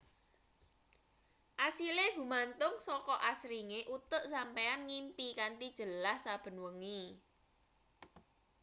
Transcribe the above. asile gumantung saka asringe utek sampeyan ngimpi kanthi jelas saben wengi